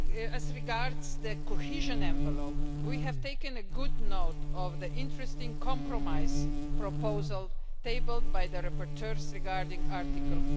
As regards the cohesion envelope, we have taken good note of the interesting compromise proposal tabled by the rapporteurs regarding Article